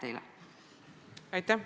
Aitäh!